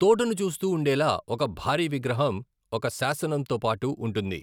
తోటను చూస్తూ ఉండేలా ఒక భారీ విగ్రహం ఒక శాసనంతో పాటు ఉంటుంది.